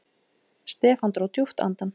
Stefán dró djúpt andann.